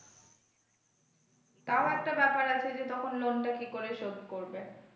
তাও একটা ব্যাপার আছে যে তখন loan টা কি করে শোধ করবে।